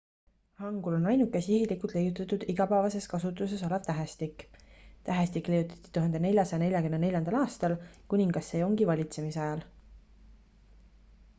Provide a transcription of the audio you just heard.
hangul on ainuke sihilikult leiutatud igapäevases kasutuses olev tähestik. tähestik leiutati 1444. aastal kuningas sejongi 1418–1450 valitsemisajal